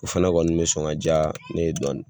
O fana kɔni bɛ soɔ ka diya ne ye dɔɔnin.